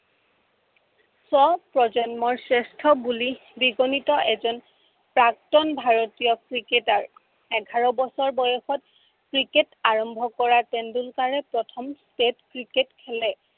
স্ব প্ৰজন্মৰ শ্ৰেষ্ঠ বুলি বিজনিত এজন প্ৰাক্তন ভাৰতীয় ক্ৰিকেটাৰ। এঘাৰ বছৰ বয়সত ক্ৰিকেট আৰম্ভ কৰা তেণ্ডলুকাৰে প্ৰথম state ক্ৰিকেট খেলে।